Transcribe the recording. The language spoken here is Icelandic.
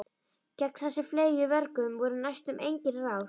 Gegn þessum fleygu vörgum voru næstum engin ráð.